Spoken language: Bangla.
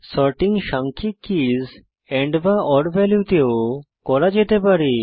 সর্টিং সাংখ্যিক কীস andওর ভ্যালুতে ও করা যেতে পারে